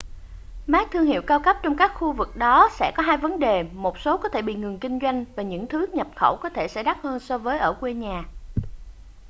mác thương hiệu cao cấp trong các khu vực đó sẽ có hai vấn đề một số có thể bị ngừng kinh doanh và những thứ nhập khẩu có thể sẽ đắt hơn so với ở quê nhà